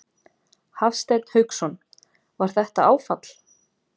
Hafsteinn Hauksson: Var þetta áfall?